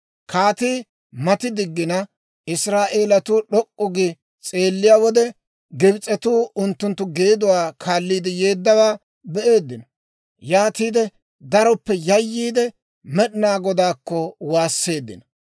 Kaatii mati diggina, Israa'eelatuu d'ok'k'u gi s'eelliyaa wode, Gibs'etuu unttunttu geeduwaa kaalliide yeeddawaa be'eeddino; yaatiide daroppe yayyiide, Med'inaa Godaakko waasseeddino.